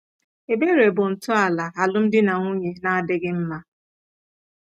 Ebere bụ ntọala alụmdi na nwunye na-adịghị mma.